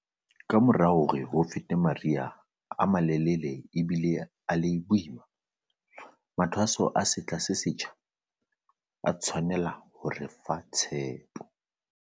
Kamora hore ho fete mari ha a malelele a bile a le boima, mathwaso a sehla se setjha a tshwanela ho re fa tshepo.